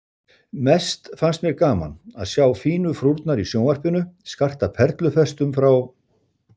Mest finnst mér gaman að sjá fínu frúrnar í sjónvarpinu skarta perlufestum frá